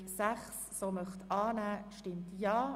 Erhöhung der Patientenbeteiligung Spitex (Massnahme 44.3.6):